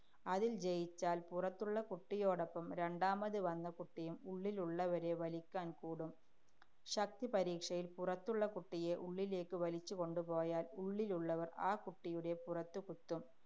അതില്‍ ജയിച്ചാല്‍ പുറത്തുള്ള കുട്ടിയോടൊപ്പം രണ്ടാമത് വന്ന കുട്ടിയും ഉള്ളിലുള്ളവരെ വലിക്കാന്‍ കൂടും. ശക്തിപരീക്ഷയില്‍ പുറത്തുള്ള കുട്ടിയെ ഉള്ളിലേക്ക് വലിച്ച് കൊണ്ടുപോയാല്‍ ഉള്ളിലുള്ളവര്‍ ആ കുട്ടിയുടെ പുറത്ത് കുത്തും.